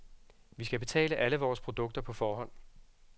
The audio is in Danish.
Vi skal betale alle vores produkter på forhånd.